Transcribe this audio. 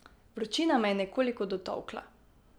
Vročina me je nekoliko dotolkla.